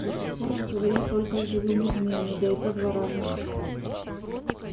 до сих пор он говорил только с живыми змеями да и то два раза